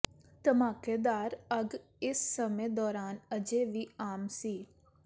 ਧਮਾਕੇਦਾਰ ਅੱਗ ਇਸ ਸਮੇਂ ਦੌਰਾਨ ਅਜੇ ਵੀ ਆਮ ਸੀ